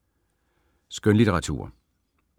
Skønlitteratur